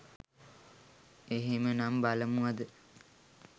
එහෙමනම් බලමු අද